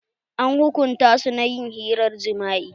An hukunta su na ƴin hirar jima'i.